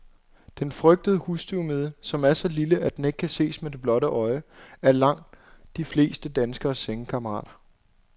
Den frygtede husstøvmide, som er så lille, at den ikke kan ses med det blotte øje, er langt de fleste danskeres sengekammerat.